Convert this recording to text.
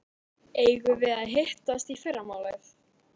Eigum við að hittast í fyrramálið?